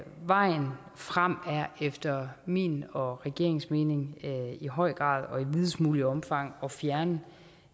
vejen frem er efter min og regeringens mening i høj grad og i videst muligt omfang at fjerne